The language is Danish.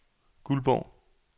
Guldborg